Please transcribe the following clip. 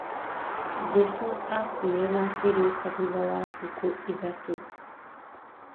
Jesũ akuire na akĩriũka thutha wa thikũ ithatũ